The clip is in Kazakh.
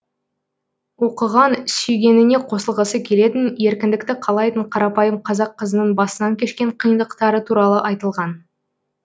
оқыған сүйгеніне қосылғысы келетін еркіндікті қалайтын қарапайым қазақ қызының басынан кешкен қиындықтары туралы айтылған